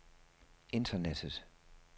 internettet